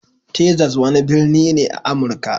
Texas wani birni ne a Amurka.